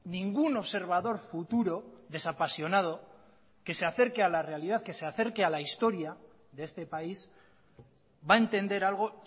ningún observador futuro desapasionado que se acerque a la realidad que se acerque a la historia de este país va a entender algo